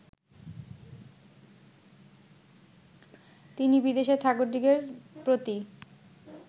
তিনি বিদেশের ঠাকুরদিগের প্রতি